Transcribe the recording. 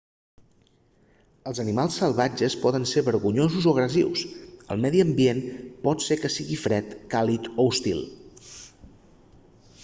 els animals salvatges poden ser vergonyosos o agressius el medi ambient pot ser que sigui fred càlid o hostil